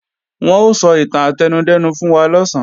Wọ́n ó sọ ìtàn átẹnudẹ́nu fún wa lọ̀sán